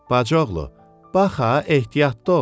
Bacıoğlu, bax ha, ehtiyatlı ol.